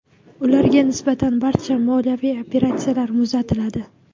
Ularga nisbatan barcha moliyaviy operatsiyalar muzlatiladi.